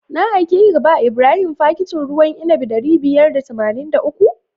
Na aikeka ka ba Ibrahim fakitin ruwan inabi ɗari biyar da tamanin da uku?